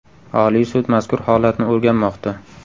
Oliy sud mazkur holatni o‘rganmoqda.